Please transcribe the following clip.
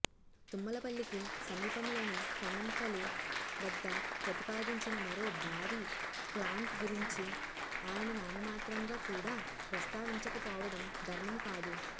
తుమ్మలపల్లికి సమీపంలోని కన్నంపలి వద్ద ప్రతిపాదించిన మరో భారీ ప్లాంటు గురించి ఆయన నామమాత్రంగా కూడా ప్రస్తావించకపోవడం ధర్మం కాదు